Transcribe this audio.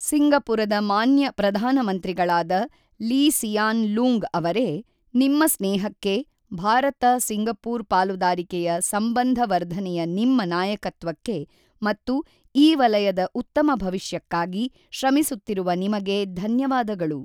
ಸಿಂಗಪುರದ ಮಾನ್ಯ ಪ್ರಧಾನಮಂತ್ರಿಗಳಾದ Lee Hsien Loong ಅವರೇ, ನಿಮ್ಮ ಸ್ನೇಹಕ್ಕೆ, ಭಾರತ ಸಿಂಗಪುರ್ ಪಾಲದಾರಿಕೆಯ ಸಂಬಂಧವರ್ಧನೆಯ ನಿಮ್ಮ ನಾಯಕತ್ವಕ್ಕೆ ಮತ್ತು ಈ ವಲಯದ ಉತ್ತಮ ಭವಿಷ್ಯಕ್ಕಾಗಿ ಶ್ರಮಿಸುತ್ತಿರುವ ನಿಮಗೆ ಧನ್ಯವಾದಗಳು.